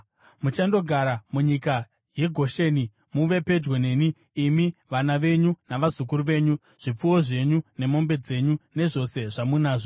Muchandogara munyika yeGosheni muve pedyo neni, imi, vana venyu navazukuru venyu, zvipfuwo zvenyu nemombe dzenyu nezvose zvamunazvo.